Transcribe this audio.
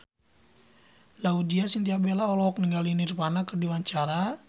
Laudya Chintya Bella olohok ningali Nirvana keur diwawancara